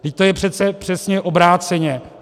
Vždyť to je přece přesně obráceně.